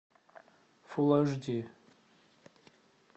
фулл аш ди